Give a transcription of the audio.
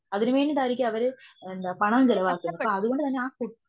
അതിനു വേണ്ടീട്ടായിരിക്കും അവര് പണം ചിലവാക്കുന്നത്. അതുകൊണ്ടു തന്നെ ആ കുട്ടി